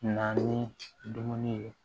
Na ni dumuni ye